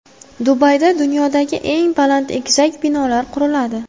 Dubayda dunyodagi eng baland egizak binolar quriladi.